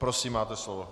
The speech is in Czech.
Prosím, máte slovo.